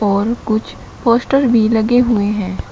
और कुछ पोस्टर भी लगे हुए हैं।